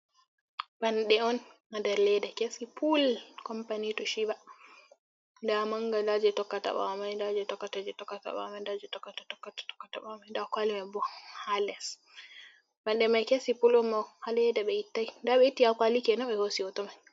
Banɗe'on ha nder leda kesi pul Kompani toshiba. nda manga nda je tokka ɓawomai, nda je tokkata je tokkata ɓawomai, nda je tokkata tokkata tokkata ɓawo mai, nda kwali mai bo ha les. Banɗe mai kesum Pul'on ha leda ɓe ittai, nda ɓe itti ha kwali kenan ɓe hosi hoto mai.